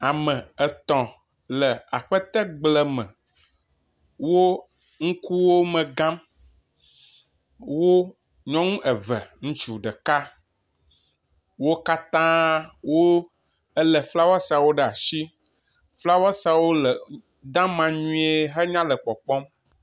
Ame etɔ̃ le aƒetegble me, wo nukuwo me gãm. Wo nyɔnu eve, ŋutsu ɖeka, wo katã wolé flawesiawo ɖe asi. Flawesiawo le deama nyuie henya le kpɔkpɔm.